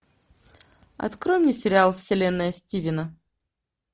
открой мне сериал вселенная стивена